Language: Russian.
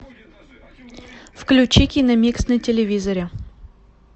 включи киномикс на телевизоре